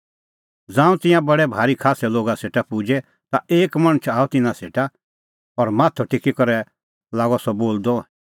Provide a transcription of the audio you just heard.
ज़ांऊं तिंयां बडै भारी खास्सै लोगा सेटा पुजै ता एक मणछ आअ तिन्नां सेटा और माथअ टेकी करै लागअ सह बोलदअ